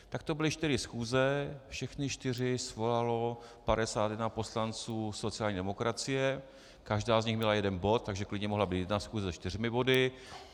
Tak to byly čtyři schůze, všechny čtyři svolalo 51 poslanců sociální demokracie, každá z nich měla jeden bod, takže klidně mohla být jedna schůze se čtyřmi body.